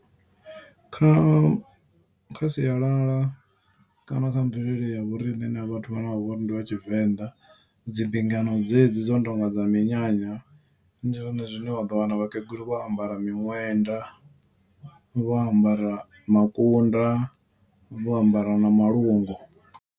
Kha kha sialala kana kha mvelele ya vhoriṋe na vhathu vhane vha vhori ndi vha tshivenḓa dzimbingano dzedzi dzo no tonga dza minyanya ndi zwone zwine wa ḓo wana vhakegulu vho ambara miṅwenda vho ambara makunda vho ambara na malungu.